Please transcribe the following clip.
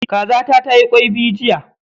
Kazata tayi kwai biyu jiya.